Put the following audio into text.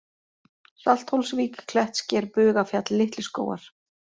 Salthólsvík, Klettsker, Bugafjall, Litlu-Skógar